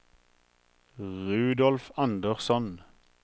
Rudolf Andersson